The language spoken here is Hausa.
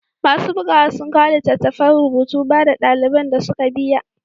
Masu bugawa sun kawo littattafan rubutu, ba da daliban da suka biya.